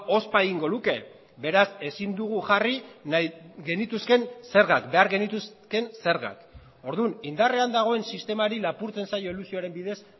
ospa egingo luke beraz ezin dugu jarri nahi genituzkeen zergak behar genituzkeen zergak orduan indarrean dagoen sistemari lapurtzen zaio elusioaren bidez